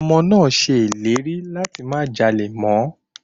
Ọmọ náà á ṣe ìlérí láti má jalè mọ́.